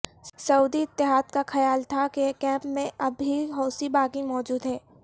سعودی اتحاد کا خیال تھا کہ کیمپ میں اب بھی حوثی باغی موجود ہیں